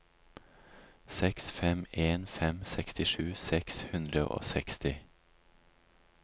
seks fem en fem sekstisju seks hundre og seksti